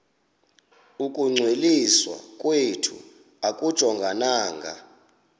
ukungcwaliswa kwethu akujongananga